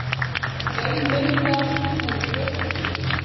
Bein myndast úr brjóski.